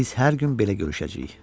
Biz hər gün belə görüşəcəyik.